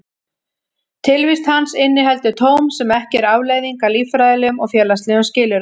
Tilvist hans inniheldur tóm sem ekki er afleiðing af líffræðilegum og félagslegum skilyrðum.